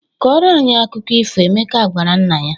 "Kọọrọ anyị akụkọ ifo," Emeka gwara nna ya.